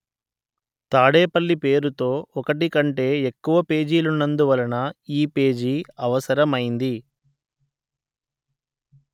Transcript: తాడేపల్లి పేరుతో ఒకటి కంటే ఎక్కువ పేజీలున్నందువలన ఈ పేజీ అవసరమైంది